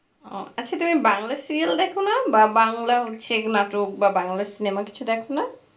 ও আচ্ছা তুমি বাংলা serial দেখোনা বা বাংলা হচ্ছে নাটক বা বাংলা cinema কিছু দেখোনো?